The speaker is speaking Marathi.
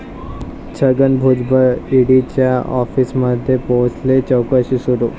छगन भुजबळ ईडीच्या आॅफिसमध्ये पोहचले, चाैकशी सुरू